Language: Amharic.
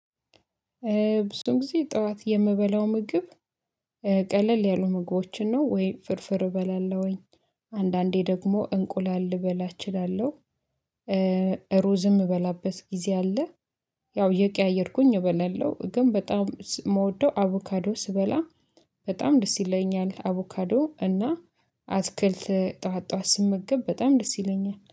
ብዙም ጊዜ ጠዋት የምበላው ምግብ ቀለል ያሉ ምግቦችን ነው ወይ ፍርፍር እበላለሁኝ አንዳንዴ ደግሞ እንቁላል ልበላ እችላለሁ። ሩዝም ምበላበት ጊዜ አለ። ያው የቀያየርኩኝ እበላለሁ ግን በጣም የምወደው አቮካዶ ስበላ በጣም ደስ ይለኛል አቮካዶ እና አትክልት ጠዋት ጠዋት ስመገብ በጣም ደስ ይለኛል